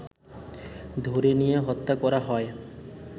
ধরে নিয়ে হত্যা করা হয়